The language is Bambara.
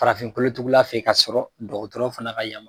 Farafintugula fɛ yen ka sɔrɔ dɔgɔtɔrɔ fana ka ya